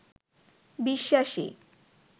বিশ্বাসী